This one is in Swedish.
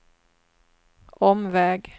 omväg